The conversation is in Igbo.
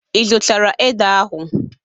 Ị zụtara ede ahụ?